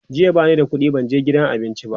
jiya bani da ƙuɗi ban je gidan cin abinci ba